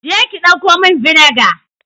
Je ki dauko min vinegar.